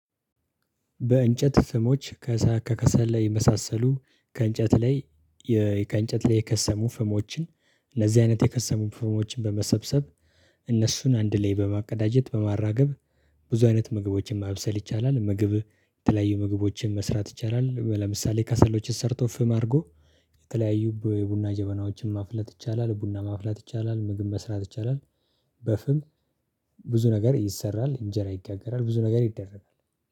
በእንጨት ፍሞች ከከሰሉ የመሳሰሉ ከእንጨት ላይ ከእንጨት ላይ የከሰሙ ፍሞችን እነዚህ አይነት የከሰሙ ፍሞችን በመሰብሰብ እነሱን አንድ ላይ በማቀዳጀት በማራገብ ብዙ አይነት ምግቦችን ማብሰል ይቻላል። ምግብ የተለያዩ ምግቦችን መስራት ይቻላል። ለምሳሌ ከሰሎችን ሰርቶ ፍም አድርጎ የተለያዩ በቡና ጀበናዎችን ማፍላት ይቻላል። ቡና ማፍላት ይቻላል ምግብ መስራት ይቻላል። በፍም ብዙ ነገር ይሰራል እንጀራ ይጋገራል ብዙ ነገር ይደረጋል